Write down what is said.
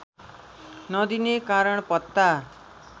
नदिने कारण पत्ता